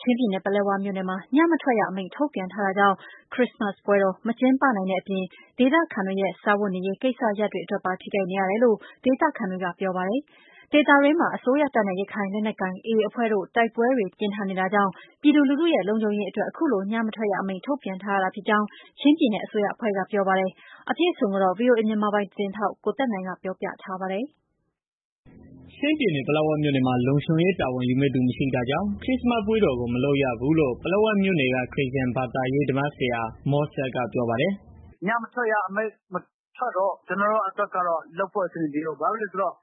ချင်းပြည်နယ် ပလက်ဝမြို့နယ်မှာ ညမထွက်ရ အမိန့်ထုတ်ပြန်ထားတာကြောင့် ခရစ္စမတ်ပွဲတော် မကျင်းပနိုင်တဲ့ အပြင် ဒေသခံတွေရဲ့ စားဝတ်နေရေး ကိစ္စရပ်တွေ အတွက်ပါ ထိခိုက်နေရတယ်လို့ ဒေသခံတွေက ပြောပါတယ်။ ဒေသတွင်းမှာ အစိုးရတပ်နဲ့ ရခိုင်လက်နက်ကိုင် AA အဖွဲ့တို့ တိုက်ပွဲတွေ ပြင်းထန်နေတာကြောင့် ပြည်သူလူထုရဲ့ လုံခြုံရေးအတွက် အခုလို ညမထွက်ရ အမိန့် ထုတ်ပြန်ထားရတာ ဖြစ်ကြောင်း ချင်းပြည်နယ် အစိုးရအဖွဲ့က ပြောပါတယ်။ ဒီသတင်း အပြည့်အစုံကိုတော့ ဗွီအိုအေ မြန်မာပိုင်းသတင်းထောက် ကိုသက်နိုင်က ပြောပြထားပါတယ်။ ချင်းပြည်နယ် ပလက်ဝမြို့နယ်မှာ လုံခြုံရေးတာဝန်ယူမယ့် သူမရှိတာကြောင့် ခရစ္စမတ် ပွဲတော်ကို မလုပ်ရဘူး လို့ ပလက်ဝ မြို့နယ်က ခရစ်ယာန် ဘာသာရေးဓမ္မဆရာ မောဆက်က ပြောပါတယ်။ "ပလက်ဝမှာ ညမထွက်ရအမိန့် ထုတ်ထားတော့ လုပ်ဖို့ အစီအစဉ်မရှိဘူး